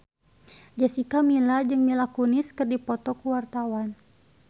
Jessica Milla jeung Mila Kunis keur dipoto ku wartawan